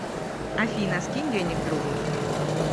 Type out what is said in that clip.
афина скинь денег другу